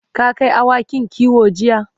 ka Kai awakin kiwo jiya?